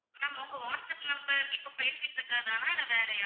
ma'am உங்க WhatsApp number இப்போ பேசிக்கிட்டு இருக்கிறதுதானா இல்ல வேறயா